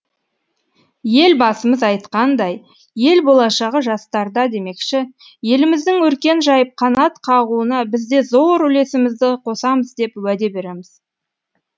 ел басымыз айытқандай ел болашағы жастарда демекші еліміздің өркен жайып қанат қағуына бізде зор үлесімізді қосамыз деп уәде береміз